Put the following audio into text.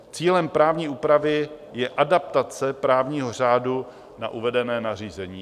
Cílem právní úpravy je adaptace právního řádu na uvedené nařízení.